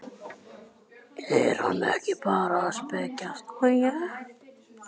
Er hann ekki bara að spekjast?